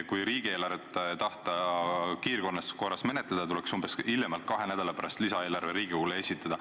Kui riigieelarvet tahta kiirkorras menetleda, tuleks hiljemalt kahe nädala pärast lisaeelarve Riigikogule esitada.